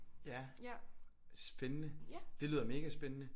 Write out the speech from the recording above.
Ja. Spændende. Det lyder mega spændende